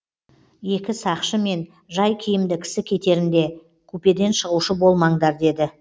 екі сақшы мен жай киімді кісі кетерінде купеден шығушы болмаңдар деді